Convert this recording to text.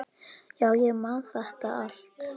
Já, ég man þetta allt.